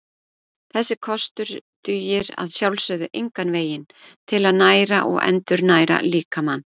Þessi kostur dugir að sjálfsögðu engan veginn til að næra og endurnæra líkamann.